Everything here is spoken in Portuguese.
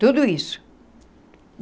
Tudo isso.